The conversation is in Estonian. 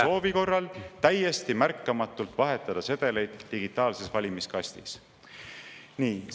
… soovi korral täiesti märkamatult vahetada sedeleid digitaalses valimiskastis?